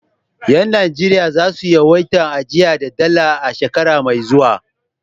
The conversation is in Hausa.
Yan Najeriya za su yawaita ajiya da Dala a shekara mai zuwa.